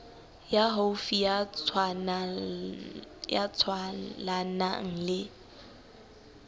ya haufi ya tswalanang le